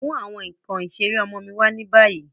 Mu awọn nkan isere ọmọ mi wa ni bayi!